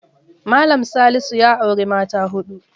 Mallam Salisu ya auri mata huɗu.